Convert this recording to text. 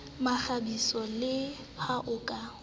mekgabiso le ha o ka